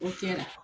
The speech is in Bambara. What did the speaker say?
O kɛra